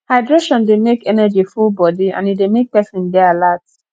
hydration dey make energy full body and e dey make person dey alert